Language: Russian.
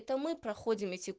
это мы проходим эти